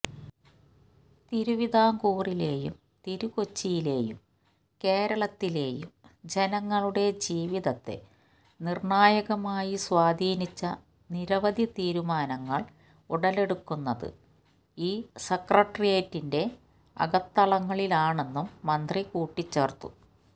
തിരുവിതാംകൂറിലെയും തിരുക്കൊച്ചിയിലെയും കേരളത്തിലെയും ജനങ്ങളുടെ ജീവിതത്തെ നിര്ണായകമായി സ്വാധീനിച്ച നിരവധി തീരുമാനങ്ങള് ഉടലെടുക്കുന്നത് ഈ സെക്രട്ടേറിയറ്റിന്റെ അകത്തളങ്ങളിലാണെന്നും മന്ത്രി കൂട്ടിച്ചേര്ത്തു